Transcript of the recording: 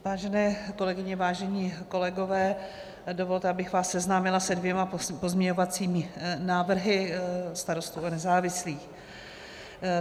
Vážené kolegyně, vážení kolegové, dovolte, abych vás seznámila se dvěma pozměňovacími návrhy Starostů a nezávislých.